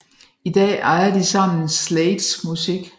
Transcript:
I dag ejer de sammen Slades musik